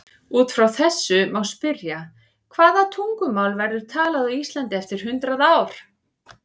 Út frá þessu má spyrja: Hvaða tungumál verður talað á Íslandi eftir hundrað ár?